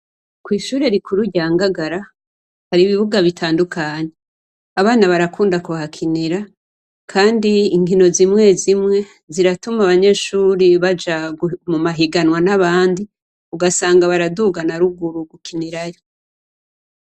Kwishure rikuru rya Ngagara hari ibibuga bitandukanye, abana barakunda kuhakinira ,kandi inkino zimwe zimwe ziratuma abanyeshure baja mumahiganwa nabandi ugasanga baraduga naruruguru gukinirayo.